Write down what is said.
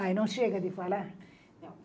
Ai, não chega de falar?